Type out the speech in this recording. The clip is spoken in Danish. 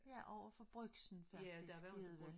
Der overfor brugsen faktisk nede ved